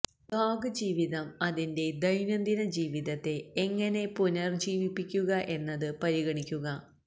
blog ജീവിതം അതിന്റെ ദൈനംദിന ജീവിതത്തെ എങ്ങനെ പുനരുജ്ജീവിപ്പിക്കുക എന്നത് പരിഗണിക്കുക